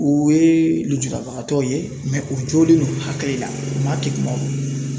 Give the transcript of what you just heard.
O ye lujurabagatɔw ye mɛ u jolen don hakili la, maa kɛkumanw don